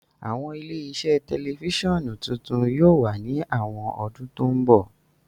Awọn ile-iṣẹ tẹlifisiọnu titun yóò wa ni awọn ọdun to nbọ.